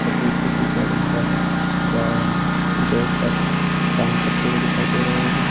तस्वीर किसी सैलून का है जहां हमे दो शख्स काम करते हुए दिखाई दे रहे हैं।